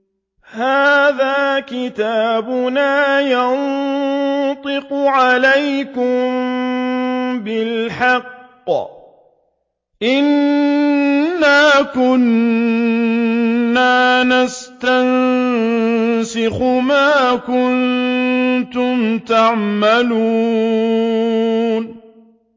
هَٰذَا كِتَابُنَا يَنطِقُ عَلَيْكُم بِالْحَقِّ ۚ إِنَّا كُنَّا نَسْتَنسِخُ مَا كُنتُمْ تَعْمَلُونَ